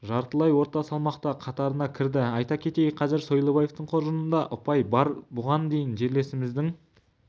жартылай орта салмақта қатарына кірді айта кетейік қазір сойлыбаевтың қоржынында ұпай бар бұған дейін жерлесіміздің